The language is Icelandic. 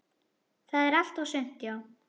Það var allt og sumt, já.